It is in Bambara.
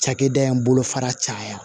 Cakɛda in bolofara caya